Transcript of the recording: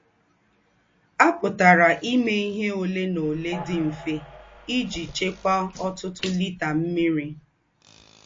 À pùtàrà íme íhe òlè na òlè dị̀ mfè íjí chékwàá ọ̀tùtù lítà ḿmị́rì.